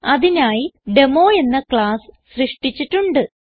അതിനായി ഡെമോ എന്ന ക്ലാസ്സ് സൃഷ്ടിച്ചിട്ടുണ്ട്